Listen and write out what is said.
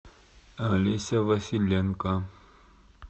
олеся василенко